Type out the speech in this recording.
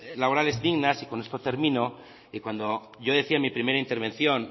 laborales dignas y con esto termino y cuando yo decía en mi primera intervención